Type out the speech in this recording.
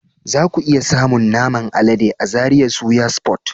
Zaku iya samun naman alade a Zaria Suya Spot.